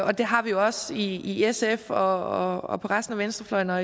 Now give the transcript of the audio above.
det har vi også i sf og og på resten af venstrefløjen og